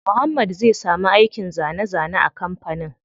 Muhammad zai samu aikin zane zane a kampanin.